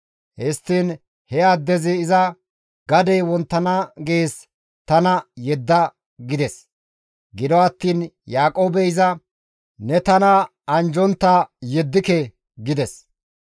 Histtiin he addezi iza, «Gadey wonttana gees tana yedda» gides. Gido attiin Yaaqoobey iza, «Ne tana anjjontta yeddike» gides.